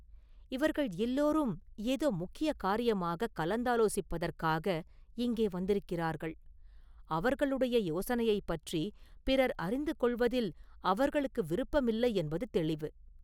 இவர்கள் எல்லோரும் ஏதோ முக்கிய காரியமாகக் கலந்தாலோசிப்பதற்காக இங்கே வந்திருக்கிறார்கள்.அவர்களுடைய யோசனையைப் பற்றிப் பிறர் அறிந்து கொள்வதில் அவர்களுக்கு விருப்பமில்லையென்பது தௌிவு.